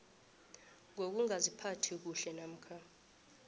ngokungaziphathi kuhle namkha